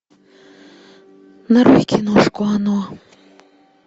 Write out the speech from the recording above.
нарой киношку оно